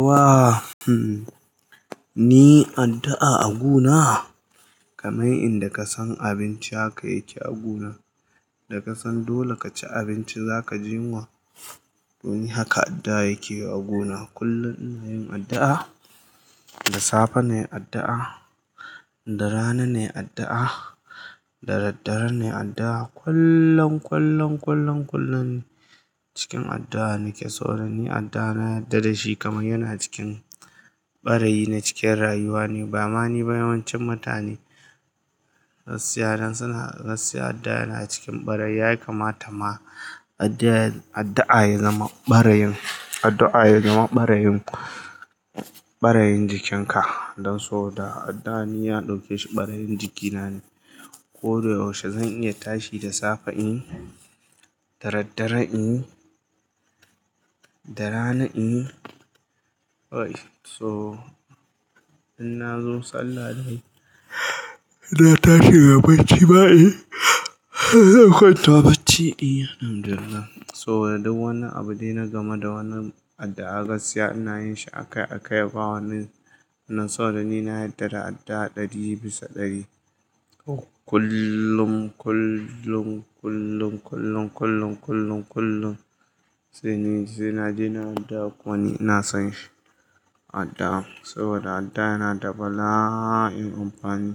Wa, hmm, ni addu'a a guna? Kamar inda ka san abinci haka yake a guna, da ka san dole ka ci abinci za ka ji yunwa. Don haka addu'a yake a guna. Kullum ina yin addu'a, da safe ne addu'a, da rana ne addu'a, da daddare ne addu'a. Kullum, kullum, kullum, kullum cikin addu'a nike saboda ni addu'a na yarda da shi kamar yana cikin ɓarayi na cikin rayuwa ne. Ba ma ni ba yawancin mutane, gaskiya dan suna, gaskiya addu'a yana cikin ɓara yin. Yaya kamata ma addu'a, addu'a ya zama ɓara yin, addu'a ya zama ɓara yin, ɓara yin jikinka. Don saboda addu'a ni ya dauke shi ɓara yin jikina ne. Ko da yaushe zan iya tashi da safe in, da daddare in, da rana in. To in na zo sallah na tashi da bacci ba in, zan kwanta bacci Alhamdulillah. So da duk wani abu de na gama da wannan addu'a gaskiya ina yin shi a kai a kai. Ba wani, don saboda ni na yarda da addu'a ɗari bisa ɗari. Kullum, kullum, kullum, kullum, kullum, kullum, kullum. Sai naje na dawo kuma ni ina son shi addu'ar saboda addu'a yana da bala'in amfani.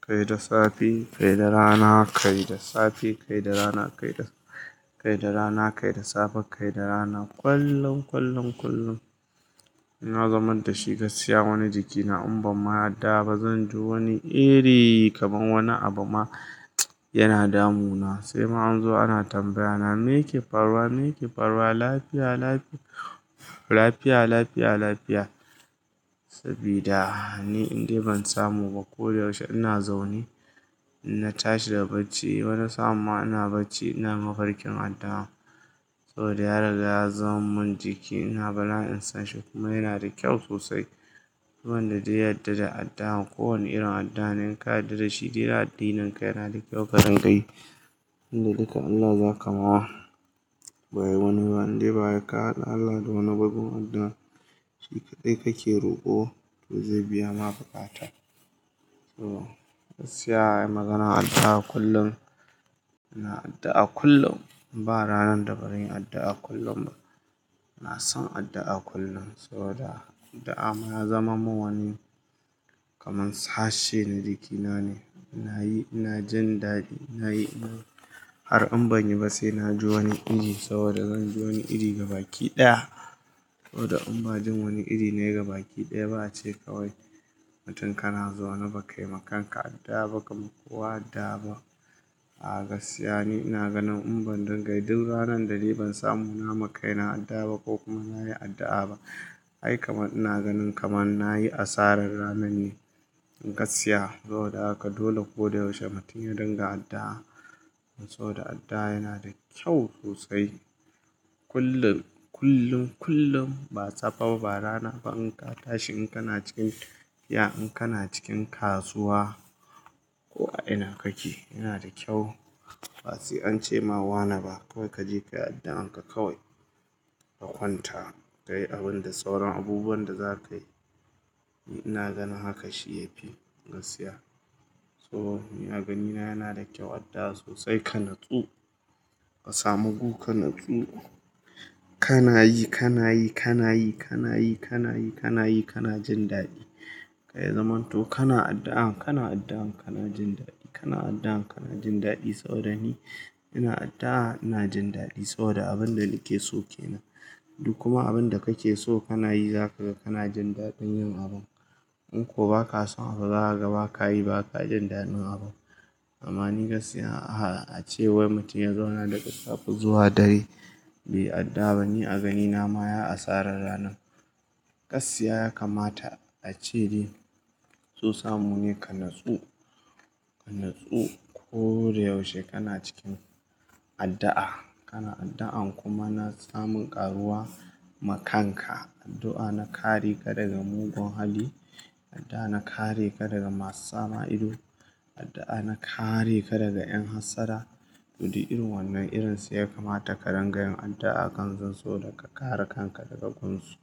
Kai da safe, kai da rana, kai da safe, kai da rana, kai da, kai da rana, kai da safe, kai da rana. Kullum, kullum, kullum. Na zamar da shi gaskiya wani jikina in ban ma addu'a ba zan ji wani iri kamar wani abu ma yana damu na. Sai ma an zo ana tambayyana me yake faruwa? Me yake faruwa? Lafiya, lafi- lafiya, lafiya, lafiya. Saboda ni indai ban samu ba ko da yaushe ina zaune na tashi daga bacci. Ba na samu ma ina bacci ina mafarkin addu'a. So da ya riga ya zamar min jiki ina bala'in son shi kuma yana da kyau sosai. Duk wanda zai yarda da addu'a kowane irin addu'a ne ka yarda da shi. Duk iya addinin ka yana da kyau ka dingayi. Tunda duka Allah za ka ma wa. Ba wani ba indai ba ka haɗa Allah da wani gwaggo addu'a. Shi kaɗai kake roƙo to zai biya ma bukatar. So gaskiya ai maganar addu'a kullum, ina addu'a kullum. Ba ranar da bazan yi addu'a kullum ba. Ina son addu'a kullum. Soboda addu'a ma ya zamar min wani kamar sashe na jikina ne. Ina yi ina jin daɗi, ina yi in har in banyi ba sai na ji wani iri. Saboda zan ji wani iri ga baki daya. Sai ma an zo ana tambayana me yake faruwa? Me yake faruwa? Lafiya, lafi- lafiya, lafiya, lafiya. A gaskiya ni ina ganin in ban dangayi duk ranar da ni ban samu na ma kai na addu'a ba ko kuma na yi addu'a ba. Ai kamar ina ganin kamar na yi asarar ranar ne gaskiya. Saboda haka dole ko da yaushe mutum ya dinga addu'a. Saboda addu'a yana da kyau sosai. Kullum, kullum, kullum ba safe ba, ba rana ba in ka tashi in kana cikin fia, in kana cikin kasuwa ko a ina kake yana da kyau. Ba sai an ce ma wane ba kawai ka je ka yi addu'an ka kawai, ka kwanta. Ka yi abin da sauran abubuwan da za ka yi. Ni ina ganin haka shi ya fi gaskiya. So ni agani na yana da kyau addu'a sosai ka natsu. Ka samu gu ka natsu. Kana yi, kana yi, kana yi, kana yi, kana yi, kana yi, kana jin daɗi. Kai zamanto kana addu'a, kana addu'a kana jin daɗi. Kana addu'a kana jin daɗi saboda ni ina addu'a ina jin daɗi. Saboda abin da nake so ke nan. Duk kuma abin da kake so kana yi za ka ga kana jin daɗin yin abun. In ko ba ka son abu, za ka ga ba ka yi ba ka jin daɗin abun. Ama ni gaskiya a, a ce wai mutum ya zauna daga safe zuwa dare bai addu'a ba ni a ganina ma ya asarar ranan. Gaskiya ya kamata a ce dai so samu ne ka natsu, ka natsu. Ko da yaushe kana cikin addu'a. Kana addu'an kuma na samun ƙaruwa ma kanka. Addu'a na kare ka daga mugun hali, addu'a na kare ka daga masu sama ido, addu'a na kare ka daga 'yan hassada. Duk dai irin wannan irinsu ya kamata ka ringayin addu'a kan zance da ka kare kanka daga kunsu.